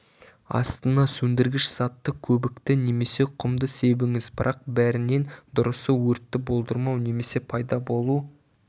астына сөндіргіш затты көбікті немесе құмды себіңіз бірақ бәрінен дұрысы өртті болдырмау немесе пайда болу